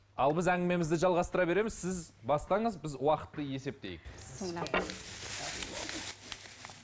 ал біз әңгімемізді жалғастыра береміз сіз бастаңыз біз уақытты есептейік